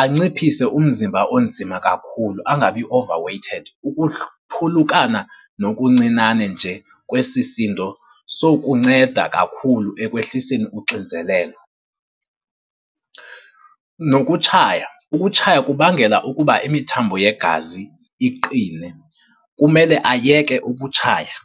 Anciphise umzimba onzima kakhulu, angabi over-weighted. Phulukana nokuncinane nje kwesi sindo sokunceda kakhulu ekwehliseni uxinzelelo. Nokutshaya, ukutshaya kubangela ukuba imithambo yegazi iqine. Kumele ayeke ukutshaya.